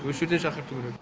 осы жерден шақырту керек